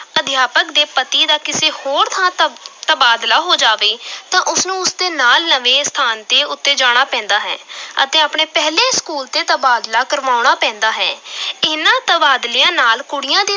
ਅਧਿਆਪਕ ਦੇ ਪਤੀ ਦਾ ਕਿਸੇ ਹੋਰ ਥਾਂ ਤਬ ਤਬਾਦਲਾ ਹੋ ਜਾਵੇ ਤਾਂ ਉਸ ਨੂੰ ਉਸ ਦੇ ਨਾਲ ਨਵੇਂ ਸਥਾਨ ਤੇ ਉੱਤੇ ਜਾਣਾ ਪੈਂਦਾ ਹੈ ਅਤੇ ਆਪਣੇ ਪਹਿਲੇ school ਤੇ ਤਬਾਦਲਾ ਕਰਾਉਣਾ ਪੈਂਦਾ ਹੈ ਇਨ੍ਹਾਂ ਤਬਾਦਲਿਆਂ ਨਾਲ ਕੁੜੀਆਂ ਦੀ